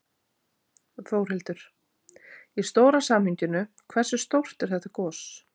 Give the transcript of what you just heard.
Þórhildur: Í stóra samhenginu, hversu stórt er þetta gos?